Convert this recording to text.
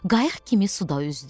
Qayıq kimi suda üzdü.